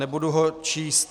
Nebudu ho číst.